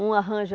Um arranja